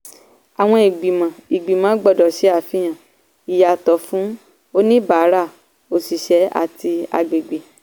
àwọn ìgbìmọ̀ ìgbìmọ̀ gbọ́dọ̀ ṣé àfihàn ìyàtọ̀ fún oníbàárà òṣìṣẹ́ àti àgbègbè.